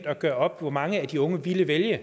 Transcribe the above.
at gøre op hvor mange af de unge der vil vælge